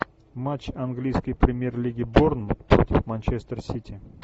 матч английской премьер лиги борнмут против манчестер сити